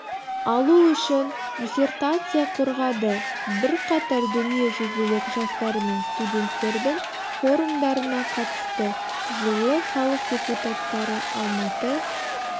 алу үшін диссертация қорғады бірқатар дүниежүзілік жастар мен студенттердің форумдарына қатысты жылы халық депутаттары алматы